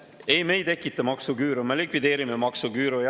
Ei, me ei tekita maksuküüru, me likvideerime maksuküüru.